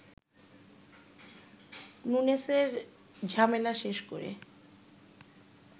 নুনেসের ঝামেলা শেষ করে